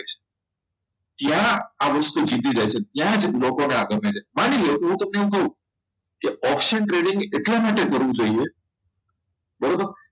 ત્યાંના વસ્તુ શીખી જાય છે ત્યાં જ લોકો ને આપે છે માની લ્યો હું તમને એવું કહું કે option trading એટલા માટે કરવું જોઈએ બરાબર